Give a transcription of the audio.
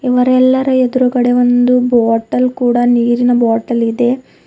ಇವರೆಲ್ಲರ ಎದ್ರುಗಡೆ ಒಂದು ಬಾಟಲ್ ಕೂಡ ನೀರಿನ ಬಾಟಲ್ ಇದೆ.